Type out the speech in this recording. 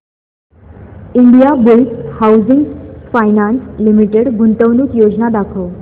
Indiabulls housing finance limited गुंतवणूक योजना दाखव